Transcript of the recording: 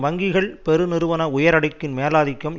வங்கிகள் பெரு நிறுவன உயரடுக்கின் மேலாதிக்கம்